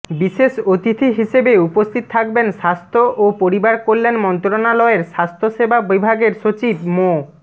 বিশেষ অতিথি হিসেবে উপস্থিত থাকবেন স্বাস্থ্য ও পরিবারকল্যাণ মন্ত্রণালয়ের স্বাস্থ্যসেবা বিভাগের সচিব মো